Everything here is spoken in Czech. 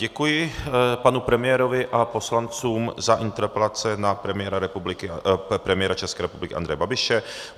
Děkuji panu premiérovi a poslancům za interpelace na premiéra České republiky Andreje Babiše.